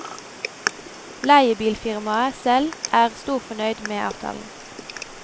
Leiebilfirmaet selv er storfornøyd med avtalen.